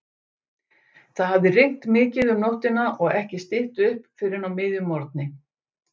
Það hafði rignt mikið um nóttina og ekki stytt upp fyrr en á miðjum morgni.